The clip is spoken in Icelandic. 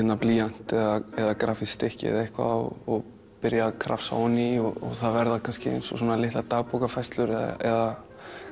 blýant eða grafískt stykki eða eitthvað og byrja að krafsa ofan í og það verða kannski eins og litlar dagbókarfærslur eða